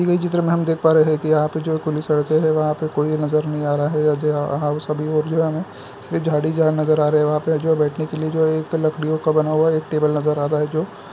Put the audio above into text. दी गई चित्र में हम देख पा रहे है कि यहाँ पे जो खुली सड़कें है वहाँ पे कोई नज़र नहीं आ रहा है और जे है आहा ओ सभी वो जो है हमें सिर्फ झाड़ ही झाड़ नज़र आ रहे है वहाँ पे जो है बैठने के लिए जो एक लकड़ियों का बना हुआ एक टेबल नज़र आ रहा है जो --